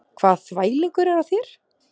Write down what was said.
Hvaða þvælingur er á þér?